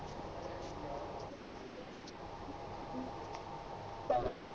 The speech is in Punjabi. ਔਰ